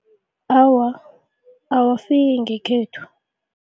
Awa, awafiki ngekhethu.